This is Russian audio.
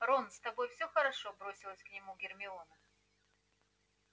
рон с тобой все хорошо бросилась к нему гермиона